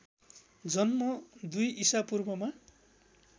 जन्म २ ईसापूर्वमा